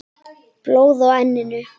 Blóð á enninu.